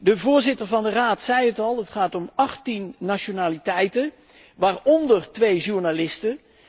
De voorzitter van de Raad zei het al, het gaat om 18 nationaliteiten, waaronder twee journalisten.